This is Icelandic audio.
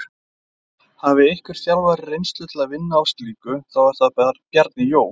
Hafi einhver þjálfari reynslu til að vinna á slíku, þá er það Bjarni Jó.